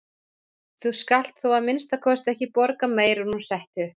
Þú skalt þó að minnsta kosti ekki borga meira en hún setti upp.